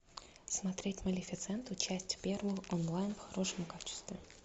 смотреть малефисенту часть первую онлайн в хорошем качестве